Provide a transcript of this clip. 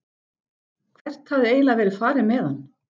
Hvert hafði eiginlega verið farið með hann?